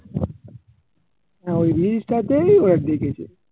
হ্যাঁ ওই reels টাতেই ওরা দেখেছে